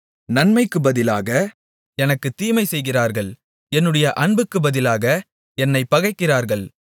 நன்மைக்குப் பதிலாக எனக்குத் தீமைசெய்கிறார்கள் என்னுடைய அன்புக்குப் பதிலாக என்னைப் பகைக்கிறார்கள்